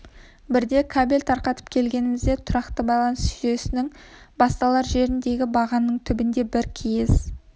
бірде кабель тарқатып келгенімізде тұрақты байланыс жүйесінің басталар жеріндегі бағананың түбіне бір киіз